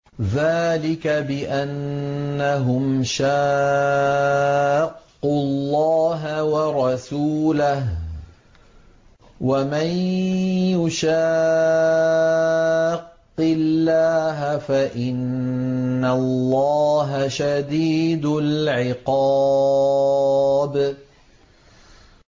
ذَٰلِكَ بِأَنَّهُمْ شَاقُّوا اللَّهَ وَرَسُولَهُ ۖ وَمَن يُشَاقِّ اللَّهَ فَإِنَّ اللَّهَ شَدِيدُ الْعِقَابِ